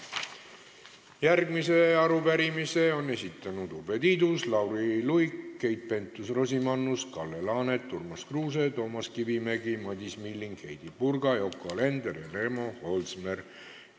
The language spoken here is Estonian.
Järgmise arupärimise on esitanud Urve Tiidus, Lauri Luik, Keit Pentus-Rosimannus, Kalle Laanet, Urmas Kruuse, Toomas Kivimägi, Madis Milling, Heidy Purga, Yoko Alender ja Remo Holsmer.